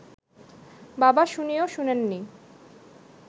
বাবা শুনেও শোনেননি